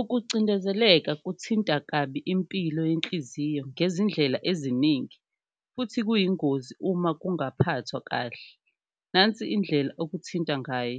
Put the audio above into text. Ukucindezeleka kuthinta kabi impilo yenhliziyo ngezindlela eziningi futhi kuyingozi uma kungaphathwa kahle, nansi indlela okuthinta ngayo,